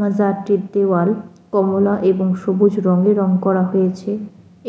মাজারটির দেওয়াল কমলা এবং সবুজ রঙের রং করা হয়েছে।